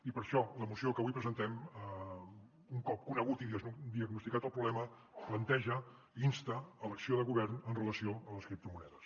i per això la moció que avui presentem un cop conegut i diagnosticat el problema planteja insta a l’acció de govern en relació amb les criptomonedes